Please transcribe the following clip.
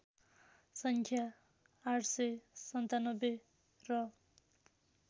सङ्ख्या ८९७ र